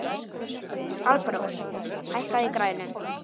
Alparós, hækkaðu í græjunum.